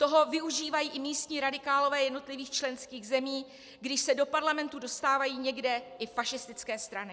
Toho využívají i místní radikálové jednotlivých členských zemí, když se do parlamentu dostávají někde i fašistické strany.